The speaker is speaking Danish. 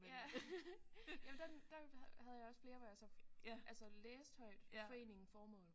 Ja jamen den den havde jeg også flere hvor jeg var så altså læste højt foreningen formål